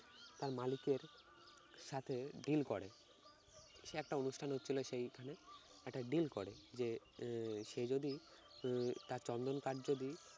তার মালিকের সাথে deal করে। সে একটা অনুষ্ঠানে হচ্ছিল সেইখানে একটা deal করে যে আহ সে যদি উম তার চন্দন কাঠ যদি